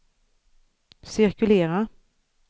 cirkulera